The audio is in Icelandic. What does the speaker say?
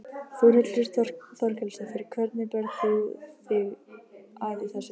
Þórhildur Þorkelsdóttir: Hvernig berð þú þig að í þessu?